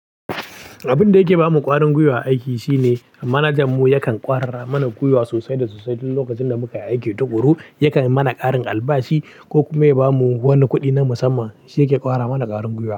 Abin da yake ba mu ƙarin gwiwa aiki shine manajanmu yakan ƙwarar mana gwiwa sosai da sosai. Duk lokacin da muka aiki tuƙuru, yakan yi mana ƙarin albashi ko kuma ya ba mu wani kuɗi na musamman. Shi yake ƙwara mana ƙarin gwiwa.